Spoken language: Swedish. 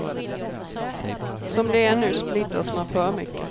Som det är nu splittras man för mycket.